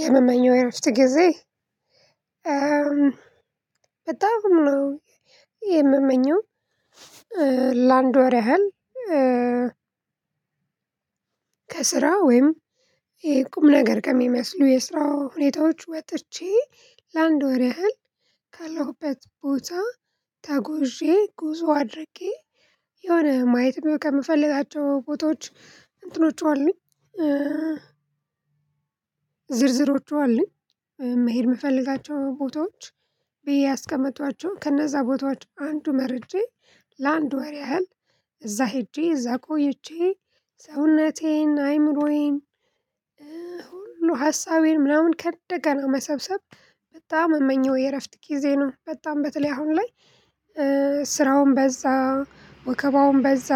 የምመኘው የእረፍት ጊዜ በጣም ነው የምመኘው ላንድ ወር ያህል። ከስራ ወይም ይሄ ቁም ነገር ከሚመስሉ የስራው ሁኔታዎች ወጥቼ ወር ያህል ካለሁበት ቦታ ተጎዤ ጉዞ አድርጌ የሆነ ማየት ማወቅ ከምፈልጋቸው ቦታዎች እንትኖች አሉኝ። ዝርዝሮቹ አሉኝ መሄድ የምፈልጋቸው ቦታዎች ብዬ ያስቀመጧቸውን ከነዛ ቦታዎች አንዱ መርጬ ለአንድ ወሬ ያህል እዛ ሄጄ እዛ ቆይቼ ሰውነቴን አይምሮዬን ሁሉ ሀሳቤን ምናምን ከእንደገና መሰብሰብ በጣም የምመኘው የእረፍት ጊዜ ነው። በጣም በተለይ አሁን ላይ ስራውም በዛ ወከባውም በዛ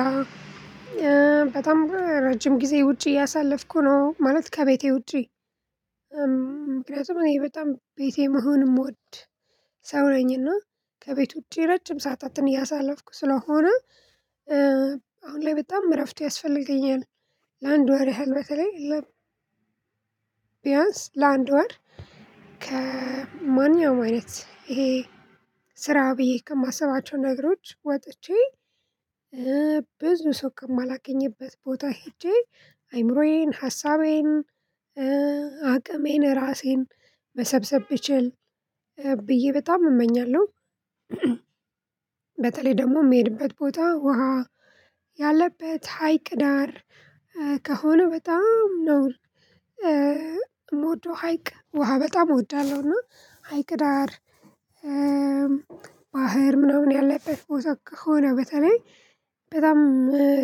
በጣም ረጅም ጊዜ ውጪ እያሳለፍኩ ነው ማለት ከቤቴ ውጪ። ምክንያቱም እኔ በጣም ቤቴ መሆን የምወድ ሰው ነኝና ከቤት ውጪ ረጅም ሰዓታትን እያሳለፍኩ ስለሆነ አሁን ላይ በጣም እረፍት ያስፈልገኛል። ለአንድ ወር ያህል በተለይ ለ ቢያንስ ለአንድ ወር ከማንኛውም አይነት ይሄ ስራ ብዬ ከማስባቸው ነገሮች ወጥቼ ሰው ከማላገኝበት ቦታ ሄጄ አይምሮዬን ሀሳቤን ራሴን መሰብሰብ ብችል ብዬ በጣም እመኛለሁ። በተለይ ደግሞ የምሄድበት ቦታ ውሃ ያለበት ሀይቅ ዳር ከሆነ በጣም ነው የምወደው ሀይቅ ውሃ በጣም እወዳለሁና ሀይቅ ዳር ባህር ምናምን ያለበት ቦታ ከሆነ በተለይ በጣም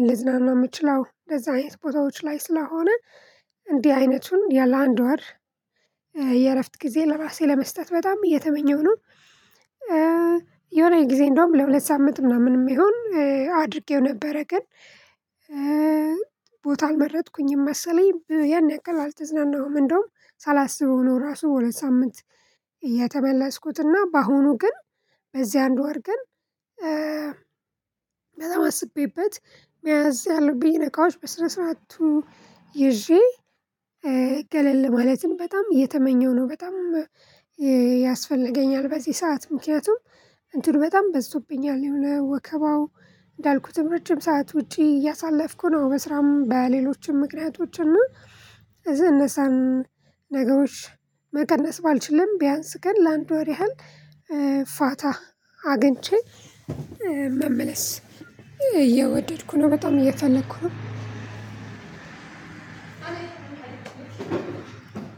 ልዝናና የምችለው እንደዚህ አይነት ቦታዎች ላይ ስለሆነ እንዲህ አይነቱን ለአንድ ወር የእረፍት ጊዜ ለራሴ ለመስጠት በጣም እየተመኘሁ ነው። የሆነ ጊዜ እንደውም ለሁለት ሳምንት ምናምን ይሁን አድርጌው ነበረ ግን። ቦታ አልመረጥኩኝም መሰለኝ ያን ያክል አልተዝናናሁም እንደውም ሳላስበው ነው ራሱ በሁለት ሳምንት የተመለስኩት በአሁኑ ግን በዚህ አንድ ወር ግን። በጣም አስቤበት መያዝ ያለብኝ እቃዎች በስነስርዓቱ ይዤ ገለል ማለትም በጣም እየተመኘሁ ነው። በጣም ያስፈልገኛል በዚህ ሰዓት ምክንያቱም እንትን በጣም በዝቶብኛል የሆነ ወከባው እንዳልኩትም ረጅም ሰዓት ውጪ እያሳለፍኩ ነው። በስራም በሌሎችም ምክንያቶችና እነዛን ነገሮች መቀነስ ባልችልም ቢያንስ ግን ለአንድ ወር ያህል ፋታ አግኝቼ መመለስ እየወደድኩ ነው። በጣም እየፈለኩ ነው።